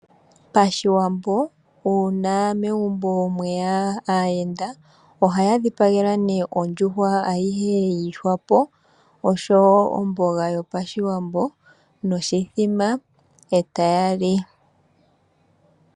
Pashiwambo uuna megumbo mweya aayenda ohaya dhipagelwa ondjuhwa ayihe yiihwapo oshowoo omboga yopashiwambo noshimbombo etaya li.